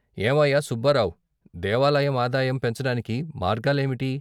"ఏవయ్యా సుబ్బారావ్! దేవాలయం ఆదాయం పెంచటానికి మార్గాలేమిటి?